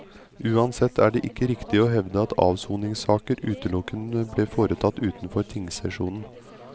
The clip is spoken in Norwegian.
Uansett er det ikke riktig å hevde at avsoningssaker utelukkende ble foretatt utenfor tingsesjonen.